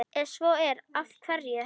Ef svo er, af hverju?